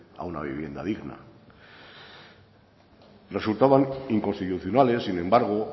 a una vivienda digna resultaban inconstitucionales sin embargo